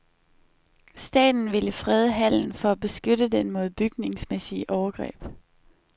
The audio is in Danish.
Staten vil frede hallen for at beskytte den mod bygningsmæssige overgreb.